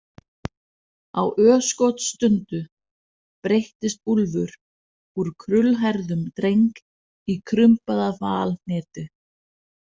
Á örskotsstundu breyttist Úlfur úr krullhærðum dreng í krumpaða valhnetu.